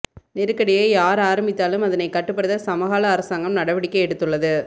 நெருக்கடியை யார் ஆரம்பித்தாலும் அதனை கட்டுப்படுத்த சமகால அரசாங்கம் நடவடிக்கை எடுத்துள்ளது